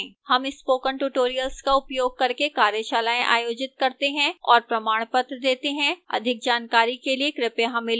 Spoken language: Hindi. हम spoken tutorial का उपयोग करके कार्यशालाएँ आयोजित करते हैं और प्रमाणपत्र देती है अधिक जानकारी के लिए कृपया हमें लिखें